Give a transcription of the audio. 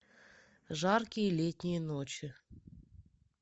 жаркие летние ночи